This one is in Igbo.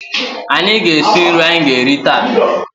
Anyị ga-esi nri anyị ga-eri taa.